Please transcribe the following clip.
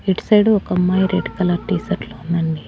ఇటు సైడు ఒక అమ్మాయి రెడ్ కలర్ టీషర్ట్ లో ఉందండి.